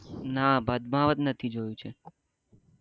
ના પદમાવત નથી જોયું છે